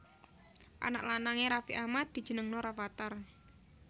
Anak lanang e Raffi Ahmad dijenengno Rafattar